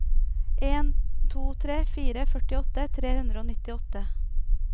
en to tre fire førtiåtte tre hundre og nittiåtte